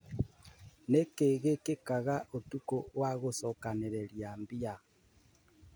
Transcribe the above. Nĩkĩ gĩkikaga ũtukũ wa gũcokanĩrĩria mbia?